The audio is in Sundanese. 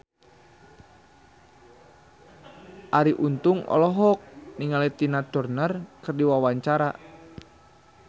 Arie Untung olohok ningali Tina Turner keur diwawancara